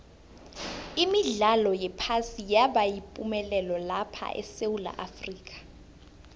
imidlalo yephasi yaba yipumelelo lapha esewula afrika